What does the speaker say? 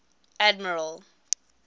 admiral